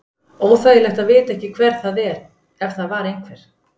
Óþægilegt að vita ekki hver það er ef það var einhver.